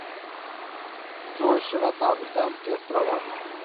джой широта британские острова